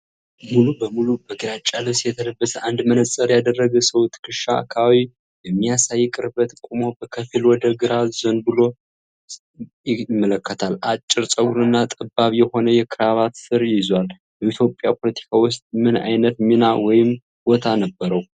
ሙሉ በሙሉ በግራጫ ልብስ የተለበሰ አንድ መነጽር ያደረገ ሰው ትከሻ አካባቢ በሚያሳይ ቅርበት ቆሞ በከፊል ወደ ግራ ዘንበል ብሎ ይመለከታል። አጭር ፀጉርና ጠባብ የሆነ የክራቫት ስር ይዟል። በኢትዮጵያ ፖለቲካ ውስጥ ምን ዓይነት ሚና ወይም ቦታ ነበረው?